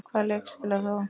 Hvaða leik spilar þú?